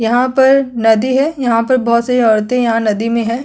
यहाँ पर नदी है यहाँ पर बहोत सारी औरते यहाँ नदी में है।